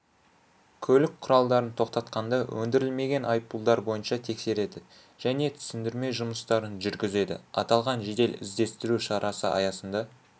көлік құралдарын тоқтатқанда өндірілмеген айыппұлдар бойынша тексереді және түсіндірме жұмыстарын жүргізеді аталған жедел-іздестіру шарасы аясында